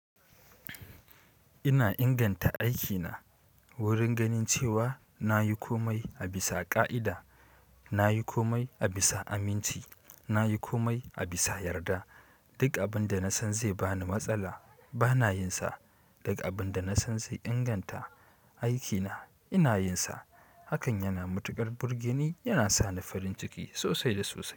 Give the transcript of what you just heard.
Ina inganta aikina wurin ganin cewa na yi komai a bisa ƙa'ida, na yi komai a bisa aminci, na yi komai a bisa yarda. Duk abin da na san zai bani matsala bana yin sa. Duk abin da na san zai inganta aikina ina yin sa. Hakan yana matuƙar burgeni, yana sa ni farin ciki sosai da sosai.